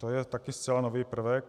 To je také zcela nový prvek.